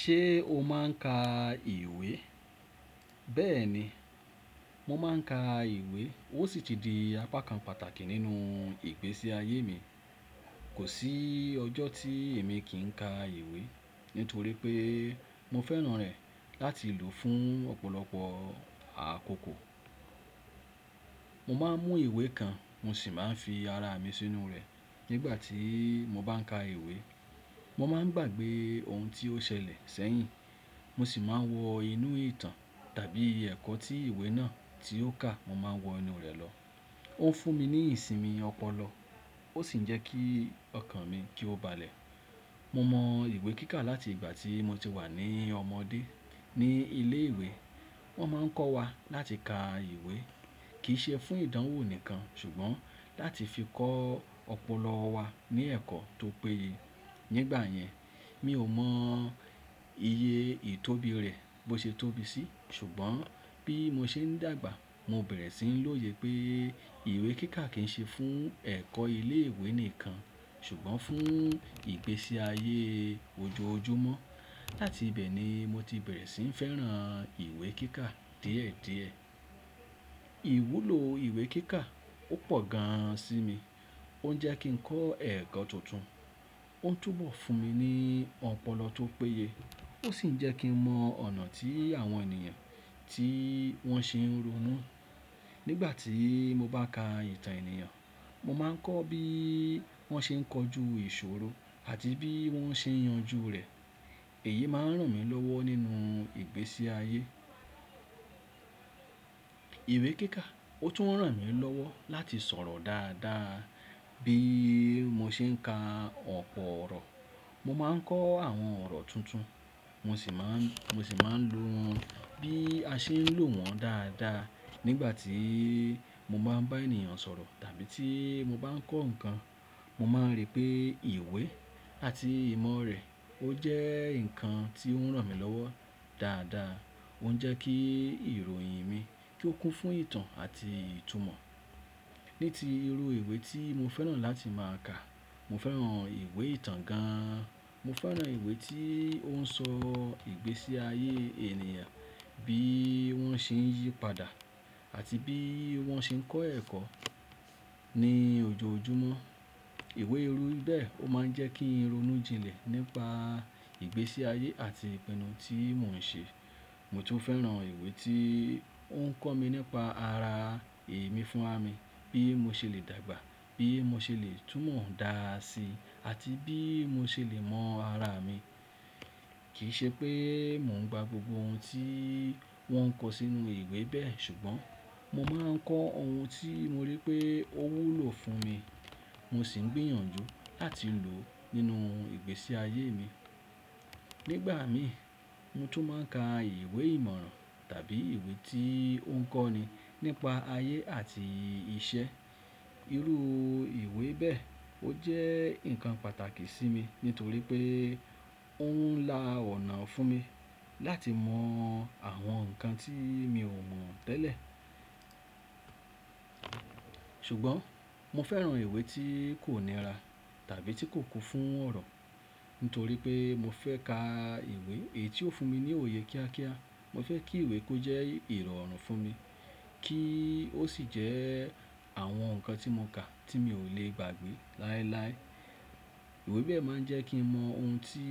Ṣé o máa ń ka ìwé? Bẹ́ẹ̀ ni, mo máa ń ka ìwé, ó sì ti di apá kan pàtàkì nínú ìgbésí ayé mi. Kò sí ọjọ́ tí èmi kì í ka ìwé nítorí pé mo fẹ́ràn rẹ̀ láti lò ó fún ọ̀pọ̀lọpọ̀ àkókò. Mo máa ń mú ìwé kan mo sì máa ń fi ara mi sínú rẹ̀ nígbà tí mo bá ń ka ìwé. Mo máa ń gbàgbé ohun tí ó ṣẹlẹ̀ sẹ́yìn, mo sì máa ń wọ inú ìtàn tàbí iye ẹ̀kọ́ tí ìwé náà tí ó kà mo máa ń wọ inú rẹ̀ lọ. Ó ń fún mi ní ìsinmi ọpọlọ ó sì ń jẹ́ kí ọkàn mi kí ó balẹ̀. Mo mọ ìwé kíkà láti ìgbà tí mo ti wà ní ọmọdé ní ilé ìwé. Wọ́n máa ń kọ́ wa láti ka ìwé kì í ṣe fún ìdánwò nìkan ṣùgbọ́n láti fi kọ́ ọpọlọ wa ní ẹ̀kọ́ tó péye. Nígbà yẹn mi ò mọ iye ìtóbi rẹ̀ bó ṣe tóbi sí ṣùgbọ́n bí mo ṣe ń dàgbà mo bẹ̀rẹ̀ sí ń lòye pé ìwé kíkà kì í ṣe fún ẹ̀kọ́ ilé ìwé nìkan ṣùgbọ́n fún ìgbésí ayé ojoojúmọ́. Láti bẹ́ẹ̀ ni mo ti bẹ̀rẹ̀ sí ń fẹ́ràn ìwé kíkà díẹ̀díẹ̀. Ìwúlò ìwé kíkà, ó pọ̀ gan sí mi. Ó ń jẹ́ kí ń kọ́ ẹ̀kọ́ tuntun. Ó ń túbọ̀ fún mi ní ọpọlọ tó péye, ó sì ń jẹ́ kí ń mọ ọ̀nà tí àwọn ènìyàn tí wọ́n ṣe ń ronú. Nígbà tí mo bá ka ìtàn ènìyàn mo máa ń kọ́ bí wọ́n ṣe ń kọjú ìṣòro àti bí wọ́n ṣe ń yanjú rẹ̀. Èyí máa ń ràn mí lọ́wọ́ nínú ìgbésí ayé. Ìwé kíkà ó tún ràn mí lọ́wọ́ láti sọ̀rọ̀ dáadáa. Bí mo ṣe ń ka ọ̀pọ̀ ọ̀rọ̀ mo máa ń kọ́ àwọn ọ̀rọ̀ tuntun mo sì máa ń, mo sì máa ń lo bí a ṣe ń lò wọ́n dáadáa. Nígbà tí mo bá ń bá ènìyàn sọ̀rọ̀ tàbí tí mo bá ń kọ́ nǹkan mo máa ń rí pé ìwé àti ìmọ̀ rẹ̀ ó jẹ́ nǹkan tí ó ń ràn mí lọ́wọ́ dáadáa. Ó ń jẹ́ kí ìròyìn mi kí ó kún fún ìtàn àti ìtumọ̀. Ní ti irú ìwé tí mo fẹ́ràn láti máa ka, mo fẹ́ràn ìwé ìtàn gan. An Mo fẹ́ràn ìwé tí ó ń sọ ìgbésí ayé ènìyàn, bí wọ́n ṣe ń yípadà àti bí wọ́n ṣe ń kọ́ ẹ̀kọ́ ní ojoojúmọ́. Ìwé irú bẹ́ẹ̀ ó máa ń jẹ́ kí n ronú jinlẹ̀ nípa ìgbésí ayé àti ìpinnu tí mò ń ṣe. Mo tún fẹ́ràn ìwé tí ó ń kọ́ mi nípa ara èmi fúnra mi, bí mo ṣe lè dàgbà, bí mo ṣe lè túmọ̀ dáa sí, àti bí mo ṣe lè mọ ara mi. Kì í ṣe pé mò ń gbà gbogbo ohun tí wọ́n kọ sínú ìwé bẹ́ẹ̀ ṣùgbọ́n mo máa ń kọ́ ohun tí mo rí pé ó wúlò fún mi mo sì ń gbìyànjú láti lò nínú ìgbésí ayé mi. Nígbà míràn, mo tún máa ń ka ìwé ìmọ̀ràn tàbí ìwé tí ó ń kọ́ ni nípa ayé àti iṣẹ́. Irú ìwé bẹ́ẹ̀ ó jẹ́ nǹkan pàtàkì sí mi nítorí pé ó ń la ọ̀nà fún mi láti mọ àwọn nǹkan tí mi ò mọ̀ tẹ́lẹ̀. Ṣùgbọ́n mo fẹ́ràn ìwé tí kò nira tàbí tí kò kún fún ọ̀rọ̀ nítorí pé mo fẹ́ ka ìwé èyí tí ó fún mi ní òye kíákíá. Mo fẹ́ kí ìwé kó jẹ́ ìrọ̀rùn fún mi kí ó sì jẹ́ àwọn nǹkan tí mo kà tí mi ò lè gbàgbé láéláé. Ìwé bẹ́ẹ̀ máa ń jẹ́ kí mo mọ ohun tí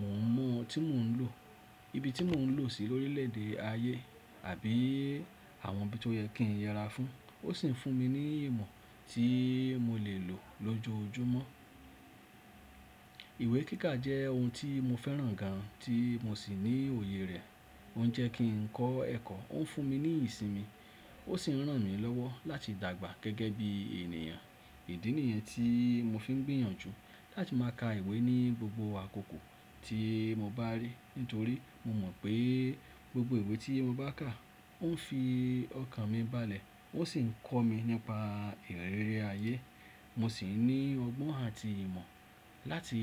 mò ń mọ, tí mò ń lò, ibi tí mò ń lò ó sí lórílẹ̀ẹ̀dè ayé àbí àwọn ibi tó yẹ kí n yẹra fún. Ó sì ń fún mi ní ìmọ̀ tí mo lè lò lójoojúmọ́. Ìwé kíkà jẹ́ ohun tí mo fẹ́ràn gan tí mo sì ní òye rẹ̀. Ó ń jẹ́ kí ń kọ́ ẹ̀kọ́, ó ń fún mi ní ìsinmi ó sì ń ràn mí lọ́wọ́ láti dàgbà gẹ́gẹ́ bí ènìyàn. Ìdí nìyẹn tí mo fi ń gbìyànjú láti máa ka ìwé ní gbogbo àkókò tí mo bá rí nítorí mo mọ̀ pé gbogbo ìwé tí mo bá kà ó ń fi ọkàn mi balẹ̀ ó sì ń kọ́ mi nípa ìrẹ́rẹ́ ayé. Mo sì ní ọgbọ́n àti ìmọ̀ láti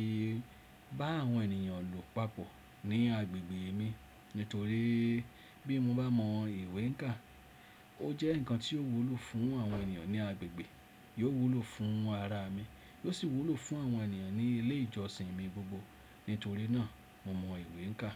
bá àwọn ènìyàn lò papọ̀ ní agbègbè mi nítorí bí mo bá mọ ìwé e kà ó jẹ́ nǹkan tí ó wúlò fún àwọn ènìyàn ní agbègbè, yóò wúlò fún ara mi, yóò sì wúlò fún àwọn ènìyàn ní ilé ìjọsìn mi gbogbo. Nítorí náà mo mọ ìwé e kà.